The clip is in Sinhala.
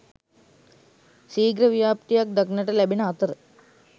සීඝ්‍ර ව්‍යාප්තියක් දක්නට ලැබෙන අතර